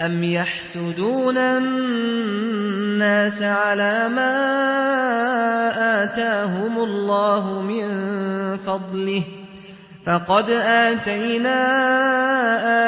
أَمْ يَحْسُدُونَ النَّاسَ عَلَىٰ مَا آتَاهُمُ اللَّهُ مِن فَضْلِهِ ۖ فَقَدْ آتَيْنَا